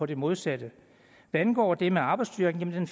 det modsatte hvad angår det med arbejdsstyrken vil